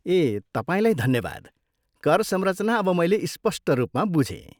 ए, तपाईँलाई धन्यवाद, कर संरचना अब मैले स्पष्ट रूपमा बुझेँ।